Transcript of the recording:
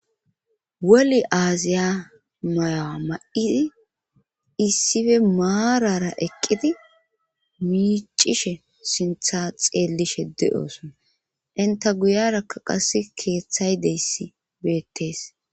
Woli aaziya mayowa ma'isi issife maarara eqqidi miicishe sintha xeellishe de'oosona inta guyarakka qas keeththay deyssi beettees.